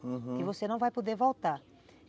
Uhum, que você não vai poder voltar.